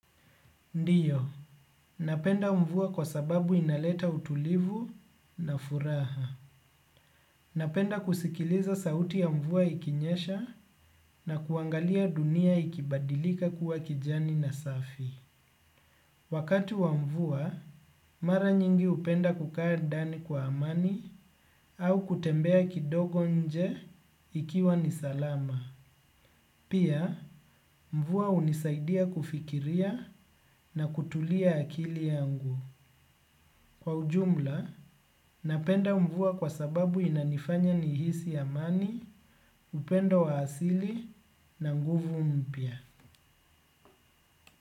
Ndiyo, napenda mvua kwa sababu inaleta utulivu na furaha. Napenda kusikiliza sauti ya mvua ikinyesha na kuangalia dunia ikibadilika kuwa kijani na safi. Wakati wa mvua, mara nyingi hupenda kukaa ndani kwa amani au kutembea kidogo nje ikiwa nisalama. Pia, mvua unisaidia kufikiria na kutulia akili yangu. Kwa ujumla, napenda mvua kwa sababu inanifanya nihisi amani, upendo wa asili na nguvu mpia.